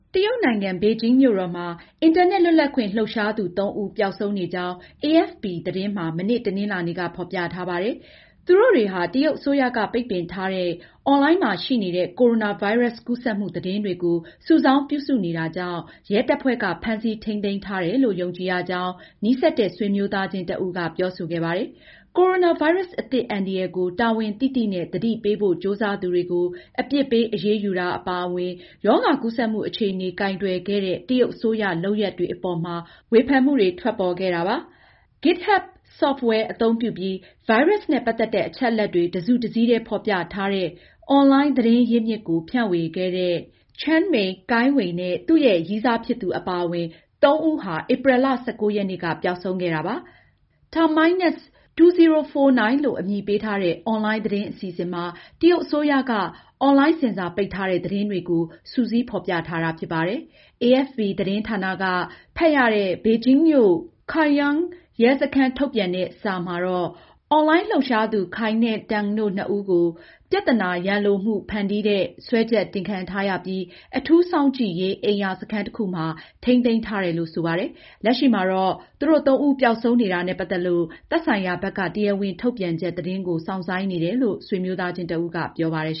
တရုတ်နိုင်ငံ ဘေဂျင်းမြို့တော်မှာ အင်တာနက်လွတ်လပ်ခွင့် လှုပ်ရှားသူ သုံးဦးပျောက်ဆုံးနေကြောင်း AFP သတင်းမှာ မနေ့ တနင်္လာနေ့က ဖေါ်ပြထားပါတယ်။ သူတို့တွေဟာ တရုတ်အစိုးရကပိတ်ပင်ထားတဲ့ အွန်လိုင်းမှာရှိနေတဲ့ ကိုရိုနာဗိုင်းရပ်စ် ကူးစက်မှု သတင်းတွေကို စုစောင်းပြုစုနေတာကြောင့် ရဲတပ်ဖွဲ့က ဖမ်းဆီးထိန်းသိမ်းထားတယ်လို့ယုံကြည်ရကြောင်း နီးစပ်တဲ့ ဆွေမျိုးသားချင်းတဦးက ပြောဆိုခဲ့ပါတယ်။ ကိုရိုနာဗိုင်းရပ်စ်အသစ်အန္တရာယ်ကို တာဝန်သိသိနဲ့ သတိပေးဖို့ ကြိုးစားသူတွေကို အပြစ်ပေးအရေးယူတာ အပါအဝင် ရောဂါကူးစက်မှု အခြေအနေ ကိုင်တွယ်ခဲ့တဲ့တရုတ်အစိုးရလုပ်ရပ်တွေအပေါ်မှာ ဝေဖန်မှုတွေကို ထွက်ပေါ်ခဲ့တာဖြစ်ပါတယ်။ GitHub ဆော့ဖ်ဝဲအသုံးပြုပြီးဗိုင်းရပ်စ်နဲ့ ပတ်သက်တဲ့ အချက်အလက်တွေ တစုတစည်းတည်းဖေါ်ပြထားတဲ့ အွန်လိုင်းသတင်းရင်းမြစ်ကိုဖြန့်ဝေခဲ့တဲ့ Chen Mei၊ Cai Wei နဲ့ သူရဲ့ ရည်းစားဖြစ်သူ အပါအဝင် စုစုပေါင်း သုံးဦးဟာဧပြီလ၁၉ ရက်နေ့ကပျောက်ဆုံးခဲ့တာဖြစ်ပါတယ်။ Terminus2049 လို့အမည်ပေးထားတဲ့အွန်လိုင်းသတင်းအစီအစဉ်မှာတရုတ်အစိုးရက အွန်လိုင်း ဆင်ဆာပိတ်ထားတဲ့ သတင်းတွေကိုစုစည်းဖေါ်ပြထားတာဖြစ်ပါတယ်။ AFP သတင်းဌာနက ဖတ်ရတဲ့ ဘေဂျင်းမြို့Chaoyang ရဲစခန်း ထုတ်ပြန်တဲ့စာအရ အွန်လိုင်း လှုပ်ရှားသူ Cai နဲ့ Tang တို့နှစ်ဦးကို ပြဿနာ ရန်လိုမှုကို ဖန်တီးတဲ့ စွဲချက်တင်ခံရထားရပြီး၊ အထူးစောင့်ကြည့်ရေးအိမ်ယာစခန်းတခုမှာထိန်းသိမ်းထားတယ်လို့ဆိုပါတယ်။ လက်ရှိမှာတော့ သူတို့သုံးဦးပျောက်ဆုံးနေတာနဲ့ပတ်သက်လို့ သက်ဆိုင်ရာဘက်က တရားဝင်ထုတ်ပြန်ချက်သတင်းကိုစောင့်ဆိုင်းနေတယ်လို့ဆွေမျိုးသားချင်းတဦးကပြောပါတယ်